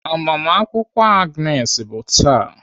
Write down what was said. Agbamakwụkwọ Agnes bụ taa.